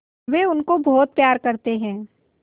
वे उनको बहुत प्यार करते हैं